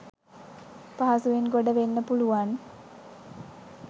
පහසුවෙන් ගොඩවෙන්න පුළුවන්.